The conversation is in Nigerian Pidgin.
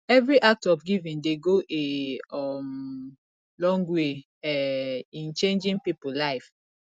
evri act of giving dey go a um long way um in changin pipo life